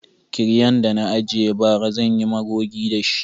Kiryan da na ajiye bara zan yi magogi da shi.